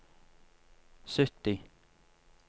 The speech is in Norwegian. sytti